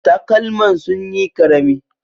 Takalman sunyi ƙarami